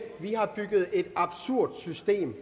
vi har bygget et absurd system